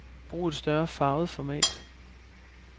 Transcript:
Brug et større farvet format.